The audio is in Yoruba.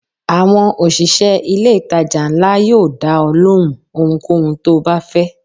Àwọn òṣìṣẹ́ ilé ìtajà ńlá yóò dá ọ lóhùn ohunkóhun tó o bá fẹ́.